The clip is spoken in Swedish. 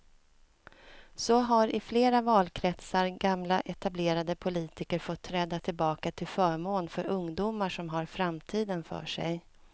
Så har i flera valkretsar gamla etablerade politiker fått träda tillbaka till förmån för ungdomar som har framtiden för sig.